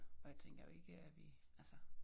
Og jeg tænker jo ikke at vi altså